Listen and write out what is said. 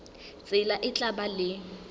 tsela e tla ba le